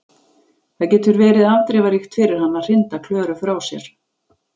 Það getur verið afdrifaríkt fyrir hann að hrinda Klöru frá sér.